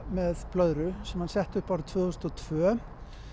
með blöðru sem hann setti upp tvö þúsund og tvö